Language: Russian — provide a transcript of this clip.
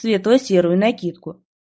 светло-серую накидку